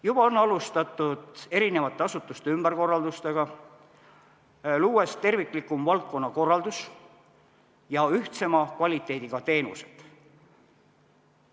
Juba on alustatud eri asutuste ümberkorraldamist, luues terviklikumat valdkonnakorraldust ja ühtsema kvaliteediga teenuseid.